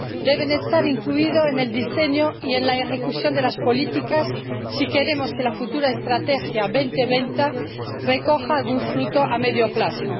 deben estar incluidas en el diseño y en la ejecución de las políticas si queremos que la futura Estrategia 2020 recoja algún fruto a medio plazo.